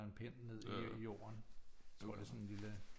Eller en pind ned i jorden tror det er sådan en lille